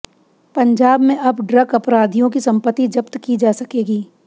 पंजाब में अब ड्रग अपराधियों की संपत्ति जब्त की जा सकेगी